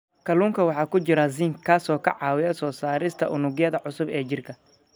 Kalluunka waxaa ku jira zinc, kaas oo ka caawiya soo saarista unugyada cusub ee jirka.